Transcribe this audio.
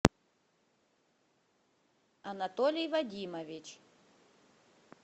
анатолий вадимович